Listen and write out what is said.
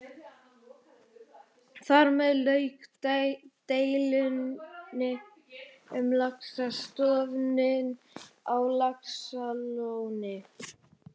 Þar með lauk deilunni um laxastofninn á Laxalóni.